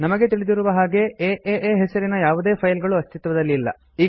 ನಮಗೆ ತಿಳಿದಿರುವ ಹಾಗೆ ಏಎ ಹೆಸರಿನ ಯಾವುದೇ ಫೈಲುಗಳು ಅಸ್ತಿತ್ವದಲ್ಲಿ ಇಲ್ಲ